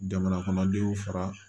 Jamana kɔnɔdenw fara